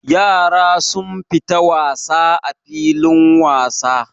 Yara sun fita wasa a filin wasa.